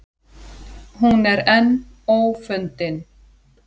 Hún er enn ófundin.